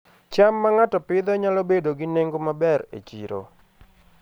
cham ma ng'ato Pidhoo nyalo bedo gi nengo maber e chiro